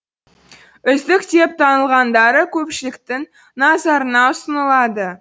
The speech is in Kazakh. үздік деп танылғандары көпшіліктің назарына ұсынылады